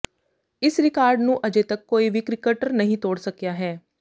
ਇਸ ਰਿਕਾਰਡ ਨੂੰ ਅਜੇ ਤੱਕ ਕੋਈ ਵੀ ਕ੍ਰਿਕਟਰ ਨਹੀਂ ਤੋੜ ਸਕਿਆ ਹੈ